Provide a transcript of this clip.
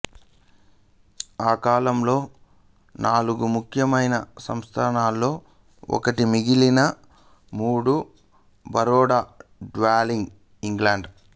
ఆ కాలంలో నాలుగు ముఖ్యమైన సంస్థానాలలో ఒకటి మిగిలిన మూడు బరోడా గ్వాలియర్ ఇండోర్